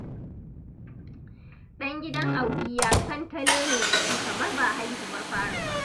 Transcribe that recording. Ɗan gidan Audiyya santalele da shi kamar ba haihuwar fari ba